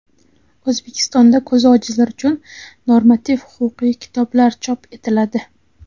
O‘zbekistonda ko‘zi ojizlar uchun normativ-huquqiy kitoblar chop etiladi.